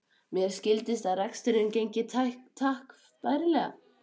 Mér skildist að reksturinn gengi takk bærilega.